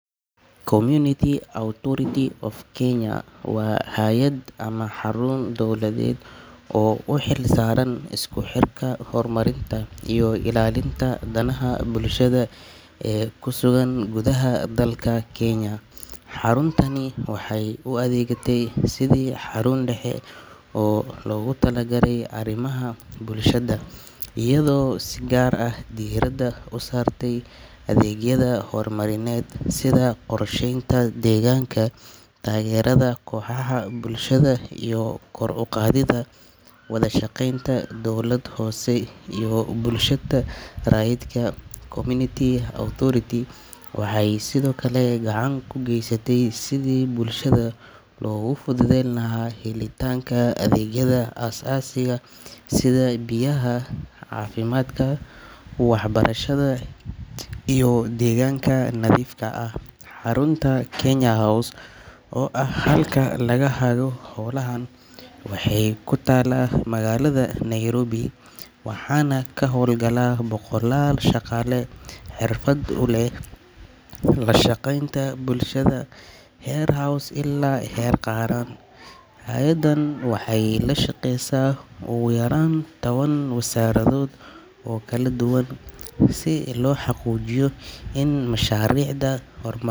Community Authority of Kenya House waa hay’ad ama xarun dowladeed oo u xilsaaran isku xirka, horumarinta iyo ilaalinta danaha bulshada ee ku sugan gudaha dalka Kenya. Xaruntani waxay u adeegtaa sidii xarun dhexe oo loogu talagalay arrimaha bulshada, iyadoo si gaar ah diiradda u saarta adeegyada horumarineed sida qorsheynta deegaanka, taageerada kooxaha bulshada, iyo kor u qaadidda wada shaqeynta dowlad hoose iyo bulshada rayidka ah. Community Authority waxay sidoo kale gacan ka geysataa sidii bulshada loogu fududeyn lahaa helitaanka adeegyada aasaasiga ah sida biyaha, caafimaadka, waxbarashada iyo deegaanka nadiifka ah. Xarunta Kenya House oo ah halka laga hago howlahaan, waxay ku taallaa magaalada Nairobi, waxaana ka howlgala boqolaal shaqaale xirfad u leh la shaqeynta bulshada heer hoose ilaa heer qaran. Hay’addan waxay la shaqeysaa ugu yaraan toban wasaaradood oo kala duwan si loo xaqiijiyo in mashaariicda hor.